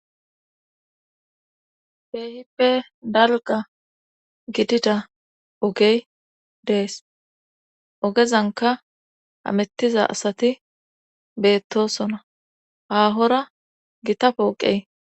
Beehippe dalga gidida ogey dees ogezanka amettiza asati beettosona haahora gita pooqey.